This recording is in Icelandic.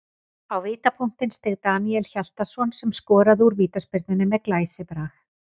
Á vítapunktinn steig Daníel Hjaltason sem skoraði úr vítaspyrnunni með glæsibrag.